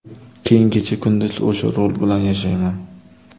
Keyin kecha-kunduz o‘sha rol bilan yashayman.